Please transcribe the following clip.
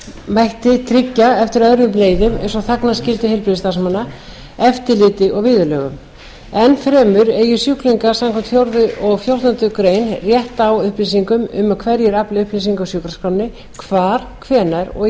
mætti tryggja eftir öðrum leiðum eins og þagnarskyldu heilbrigðisstarfsmanna eftirliti og viðurlögum enn fremur eigi sjúklingur samkvæmt fjórðu málsgrein fjórtándu grein rétt á upplýsingum um hverjir afli upplýsinga úr sjúkraskránni hvar hvenær og í